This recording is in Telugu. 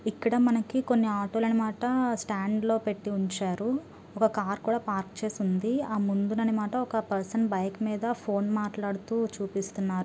ఇక్కడ మనకి కొన్ని ఆటో లు అన్నమాట స్టాండ్ పెట్టి ఉంచారు. ఒక కార్ కూడా పార్క్ చేసి ఉంది. ఆ ముందున్న అన్నమాట ఒక పర్సన్ బైక్ మీద ఫోన్ మాటలుడుతూ చుపిస్తునారు.